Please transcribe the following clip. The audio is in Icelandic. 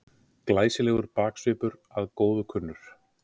Glæsilegur baksvipur að góðu kunnur.